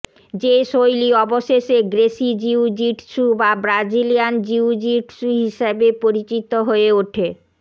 যে শৈলী অবশেষে গ্রেসি জিউ জিটসু বা ব্রাজিলিয়ান জিউ জিটসু হিসাবে পরিচিত হয়ে ওঠে